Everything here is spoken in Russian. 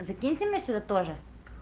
закиньте меня сюда тоже